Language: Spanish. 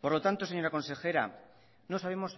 por lo tanto señora consejera no sabemos